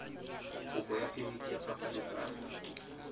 kopo ya phemiti ya phapanyetsano